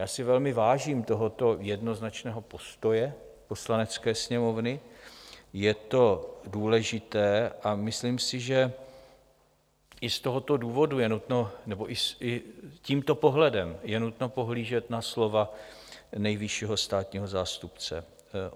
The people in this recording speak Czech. Já si velmi vážím tohoto jednoznačného postoje Poslanecké sněmovny, je to důležité, a myslím si, že i z tohoto důvodu je nutno, nebo i tímto pohledem je nutno, pohlížet na slova nejvyššího státního zástupce.